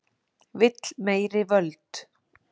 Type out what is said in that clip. Vill meiri völd